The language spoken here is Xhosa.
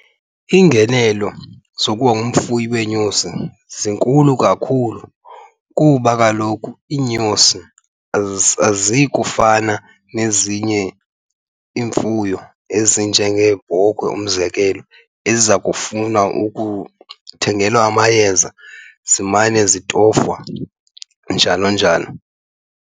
Iingenelo zokuba ngumfuyi weenyosi zinkulu kakhulu kuba kaloku iinyosi aziyi kufana nezinye iimfuyo ezinjengeebhokhwe, umzekelo, eziza kufuna ukuthengelwa amayeza zimane zitofwa, njalo njalo.